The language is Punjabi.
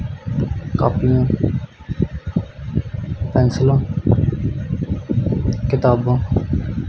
ਕੋਪੀਆਂ ਪੇਂਸਿਲਾਂ ਕਿਤਾਬਾਂ--